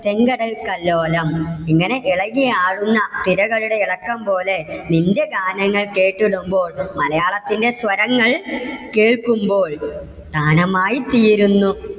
തേങ്കടൽതല്ലോലം. ഇങ്ങനെ ഇളകി ആടുന്ന തിരകളുടെ ഇളക്കം പോലെ നിന്റെ ഗാനങ്ങൾ കേട്ടിടുമ്പോൾ മലയാളത്തിന്റെ സ്വരങ്ങൾ കേൾക്കുമ്പോൾ താനമായിത്തീരുന്നു